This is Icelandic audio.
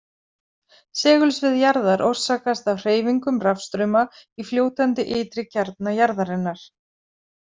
Segulsvið jarðar orsakast af hreyfingum rafstrauma í fljótandi ytri kjarna jarðarinnar.